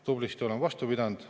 Tublisti oleme vastu pidanud.